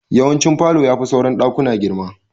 Yawancin falo ya fi sauran daƙuna girma.